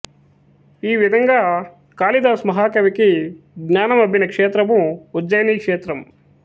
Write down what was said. ఈ విధంగా కాళిదాస మహాకవికి జ్ఞానమబ్బిన క్షేత్రము ఉజ్జయిని క్షేత్రం